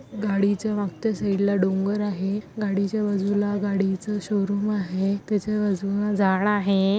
गाडीच्या मागच्या साइडला डोंगर आहे. गाडीच्या बाजूला गाडीचं शोरूम आहे. त्याच्याबाजून झाड आहे.